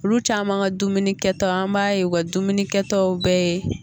Olu caman ka dumunikɛta an b'a ye wa u ka dumunikɛta bɛɛ ye